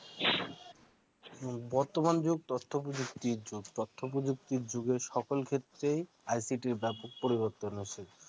বর্তমান যুগ তথ্য প্রযুক্তির যুগ তথ্য প্রযুক্তির যুগে সকল ক্ষেত্রে ICT ব্যাপক পরিবর্তন হচ্ছে।